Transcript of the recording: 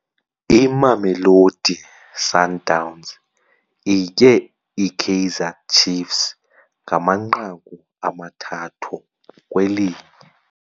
Imamelodi Sundowns itye iKaizer Cfiefs ngamanqaku amathathu kweli.